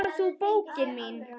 Nema þú, bókin mín.